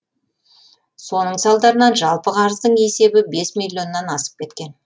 соның салдарынан жалпы қарыздың есебі бес миллионнан асып кеткен